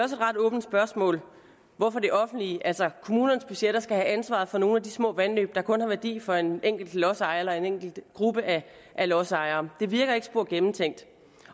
et ret åbent spørgsmål hvorfor det offentlige altså kommunernes budgetter skal have ansvaret for nogle af de små vandløb der kun har værdi for en enkelt lodsejer eller en enkelt gruppe af lodsejere det virker ikke spor gennemtænkt